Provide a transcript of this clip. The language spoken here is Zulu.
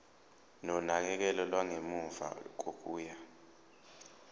nonakekelo lwangemuva kokuya